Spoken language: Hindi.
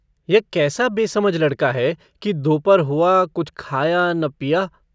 यह कैसा बेसमझ लड़का है कि दोपहर हुआ कुछ खाया न पिया।